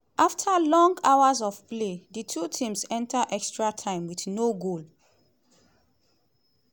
afta long hours of play di two teams enta extra time wit no goal.